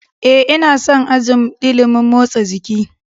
Ee, ina son ajin ilimin motsa jiki.